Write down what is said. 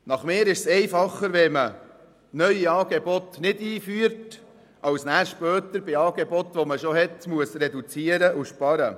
Ich finde es einfacher, neue Angebote nicht einzuführen als später bei bereits bestehenden Angeboten zu reduzieren und zu sparen.